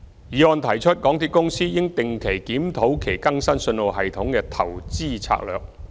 議案提出港鐵公司應定期檢討其更新信號系統的投資策略。